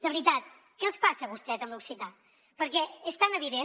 de veritat què els passa a vostès amb l’occità perquè és tan evident